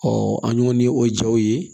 an y'o ni o jaw ye